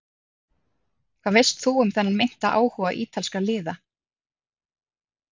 Hvað veist þú um þennan meinta áhuga ítalskra liða?